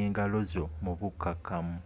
engalozo mu bukkamu